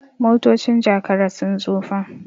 motocin Jakara sun tsufa